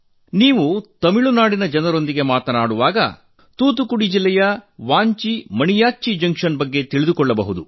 ನೀವು ತಮಿಳುನಾಡಿನ ಜನರೊಂದಿಗೆ ಮಾತನಾಡುವಾಗ ತೂತುಕುಡಿ ಜಿಲ್ಲೆಯ ವಾಂಚಿ ಮಣಿಯಾಚ್ಚಿ ಜಂಕ್ಷನ್ ಬಗ್ಗೆ ತಿಳಿದುಕೊಳ್ಳಬಹುದು